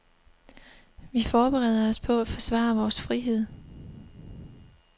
Vi forbereder os på at forsvare vores frihed.